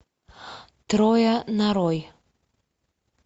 трое нарой